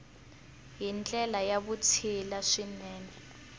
hi ndlela ya vutshila swinene